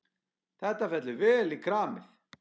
Þetta fellur vel í kramið.